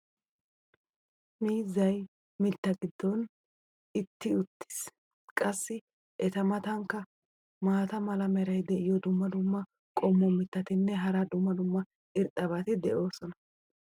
miizzay mitaa giddon etti uttiis. qassi eta matankka maata mala meray diyo dumma dumma qommo mitattinne hara dumma dumma irxxabati de'oosona.